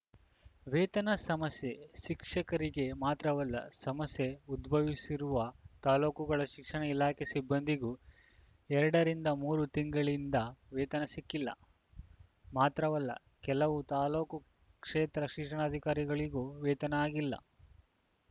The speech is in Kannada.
ವೇತನ ಸಮಸ್ಯೆ ಶಿಕ್ಷಕರಿಗೆ ಮಾತ್ರವಲ್ಲ ಸಮಸ್ಯೆ ಉದ್ಭವಿಸಿರುವ ತಾಲೂಕುಗಳ ಶಿಕ್ಷಣ ಇಲಾಖೆ ಸಿಬ್ಬಂದಿಗೂ ಎರಡರಿಂದ ಮೂರು ತಿಂಗಳಿಂದ ವೇತನ ಸಿಕ್ಕಿಲ್ಲ ಮಾತ್ರವಲ್ಲ ಕೆಲವು ತಾಲೂಕು ಕ್ಷೇತ್ರ ಶಿಕ್ಷಣಾಧಿಕಾರಿಗಳಿಗೂ ವೇತನ ಆಗಿಲ್ಲ